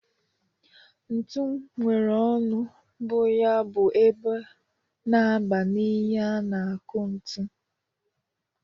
Ntu nwere ọnụ bụ ya bụ ebe na-aba n'ihe a na-akụ ntu.